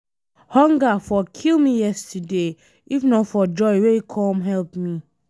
Hunger for kill me yesterday if not for Joy wey come help me.